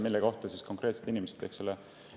Inimeselt ei küsita selle kohta,.